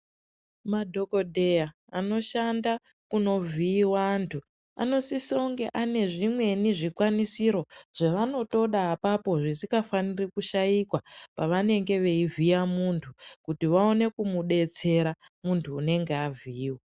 Madhokodheya anoshanda kunovhiiwa antu anosise kunge anezvimweni zvikwanisiro zvavanotoda apapo zvisikafani kushaikwa pavanenge vachivhiya muntu kuti vaone kumudetsera muntu unonge wavhiiwa.